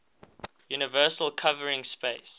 universal covering space